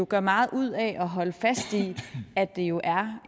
gør meget ud af at holde fast i at det jo er